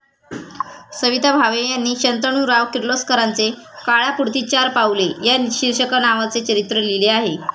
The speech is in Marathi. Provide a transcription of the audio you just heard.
सविता भावे यांनी शंतनुराव किर्लोस्करांचे 'काळापुढती चार पाऊले' या शिर्षकनावाचे चरित्र लिहिले आहे.